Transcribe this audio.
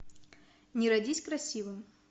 не родись красивым